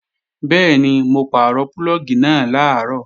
Bẹ́ẹ̀ni, mo pàrọ̀ púlọ̀gì náà làárọ̀